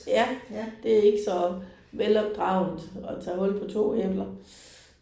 Ja. Det er ikke så velopdragent at tage hul på 2 æbler